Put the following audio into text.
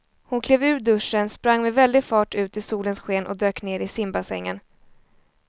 Hon klev ur duschen, sprang med väldig fart ut i solens sken och dök ner i simbassängen.